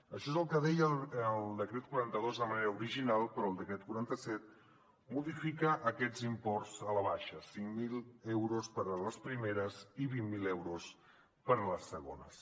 això és el que deia el decret quaranta dos de manera original però el decret quaranta set modifica aquests imports a la baixa cinc mil euros per a les primeres i vint mil euros per a les segones